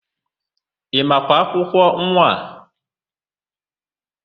Ị makwa akwụkwọ nwa a?